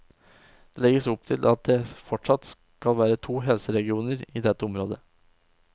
Det legges opp til at det fortsatt skal være to helseregioner i dette området.